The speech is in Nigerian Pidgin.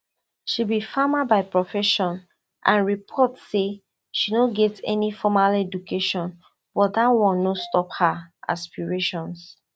she be farmer by profession and reports say she no get any formal education but dat one no stop her aspirations